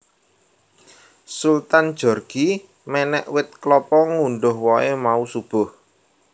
Sultan Djorghi menek wit kelapa ngundhuh wohe mau subuh